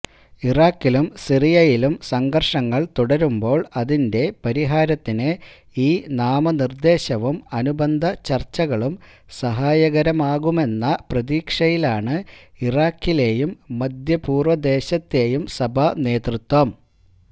ഇറാഖിലും സിറിയയിലും സംഘര്ഷങ്ങള് തുടരുമ്പോള് അതിന്റെ പരിഹാരത്തിന് ഈ നാമനിര്ദേശവും അനുബന്ധചര്ച്ചകളും സഹായകരമാകുമെന്ന പ്രതീക്ഷയിലാണ് ഇറാഖിലെയും മധ്യപൂര്വദേശത്തെയും സഭാനേതൃത്വം